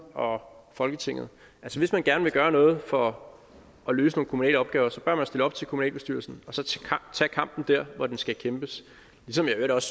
og folketinget hvis man gerne vil gøre noget for at løse nogle kommunale opgaver bør man stille op til kommunalbestyrelsen og så tage kampen der hvor den skal kæmpes ligesom jeg i øvrigt